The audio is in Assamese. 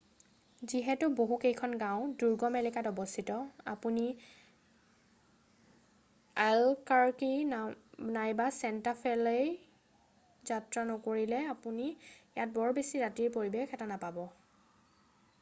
যিহেতু বহু কেইখন গাঁও দুৰ্গম এলেকাত অৱস্থিত আপুনি এল্বকাৰকি নাইবা চেণ্টা ফেলৈ যাত্ৰা নকৰিলে আপুনি ইয়াত বৰ বেছি ৰাতিৰ পৰিবেশ এটা নাপাব